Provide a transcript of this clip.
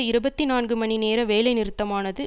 இருபத்தி நான்கு மணி நேர வேலை நிறுத்தமானது